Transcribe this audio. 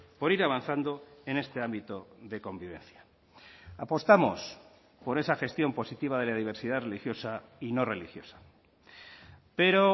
por ir avanzando en este ámbito de convivencia apostamos por esa gestión positiva de la diversidad religiosa y no religiosa pero